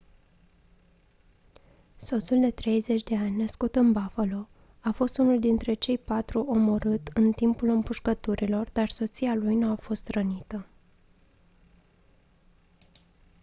soțul de 30 de ani născut în buffalo a fost unul dintre cei patru omorât în timpul împușcăturilor dar soția lui nu a fost rănită